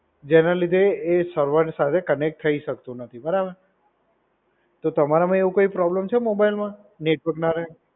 જેના લીધે એ સર્વર સાથે કનેક્ટ થઈ શકતું નથી. બરાબર. તો તમારામાં એવું કોઈ પ્રોબ્લેમ છે મોબાઇલમાં નેટવર્ક ના રહે?